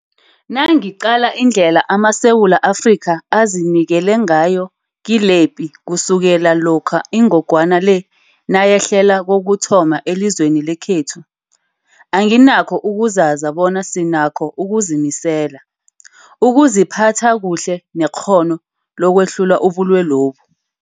Nangiqala indlela amaSewula Afrika azinikele ngayo kilepi kusukela lokha ingogwana le nayehlela kokuthoma elizweni lekhethu, anginakho ukuzaza bona sinakho ukuzimisela, ukuziphatha kuhle nekghono lokwehlula ubulwelobu.